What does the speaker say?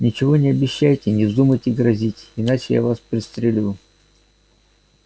ничего не обещайте и не вздумайте грозить иначе я вас пристрелю